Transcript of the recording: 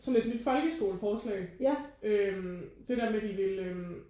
Sådan et nyt folkeskoleforslag øh det der med de vil øh